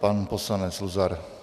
Pan poslanec Luzar.